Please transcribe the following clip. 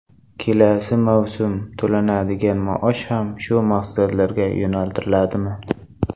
Kelasi mavsumda to‘lanadigan maosh ham shu maqsadlarga yo‘naltiriladimi?